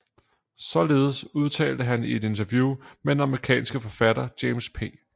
Således udtalte han i et interview med den amerikanske forfatter James P